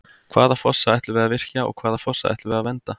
Hvaða fossa ætlum við að virkja og hvaða fossa ætlum við að vernda?